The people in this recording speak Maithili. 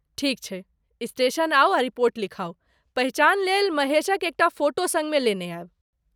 ठीक छै, स्टेशन आउ आ रिपोर्ट लिखाउ, पहिचान लेल महेशक एकटा फोटो सङ्गमे लेने आयब।